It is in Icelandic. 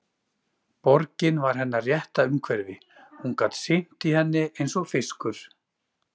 Borgin var hennar rétta umhverfi, hún gat synt í henni eins og fiskur.